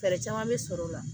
Fɛɛrɛ caman bɛ sɔrɔ o la